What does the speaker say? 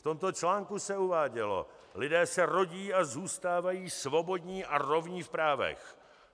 V tomto článku se uvádělo: "Lidé se rodí a zůstávají svobodní a rovní v právech.